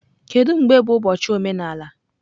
Kedu mgbe bụ ụbọchị omenala?